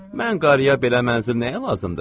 Mən qarıya belə mənzil nəyə lazımdır?